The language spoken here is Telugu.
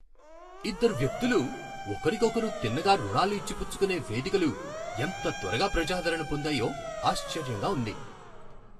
ఇద్దరు వ్యక్తులు ఒకరికొకరు తిన్నగా రుణాలు ఇచ్చి పుచ్చుకునే వేదికలు ఎంత త్వరగా ప్రజాదరణ పొందాయో ఆశ్చర్యంగా ఉంది.